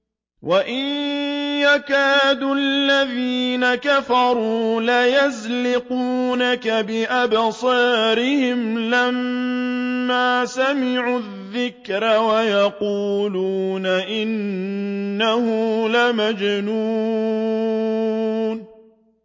وَإِن يَكَادُ الَّذِينَ كَفَرُوا لَيُزْلِقُونَكَ بِأَبْصَارِهِمْ لَمَّا سَمِعُوا الذِّكْرَ وَيَقُولُونَ إِنَّهُ لَمَجْنُونٌ